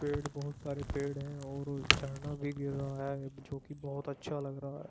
पेड़ बहोत सारे पेड़ हैं और झरना भी गिर रहा है जो कि बहोत अच्छा लग रहा है।